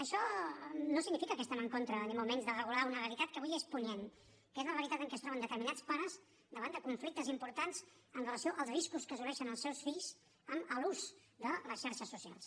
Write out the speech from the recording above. això no significa que estem en contra ni molt menys de regular una realitat que avui és punyent que és la realitat en què es troben determinats pares davant de conflictes importants amb relació als riscos que assumeixen els seus fills en l’ús de les xarxes socials